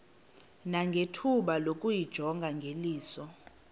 nangethuba lokuyijonga ngeliso